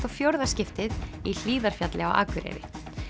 og fjórða skiptið í Hlíðarfjalli á Akureyri